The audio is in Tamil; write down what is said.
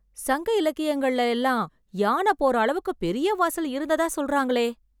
சங்க இலக்கியங்கள்ல எல்லாம் யான போற அளவுக்கு பெரிய வாசல் இருந்ததா சொல்றாங்களே.